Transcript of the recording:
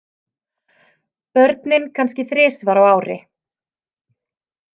Börnin kannski þrisvar á ári.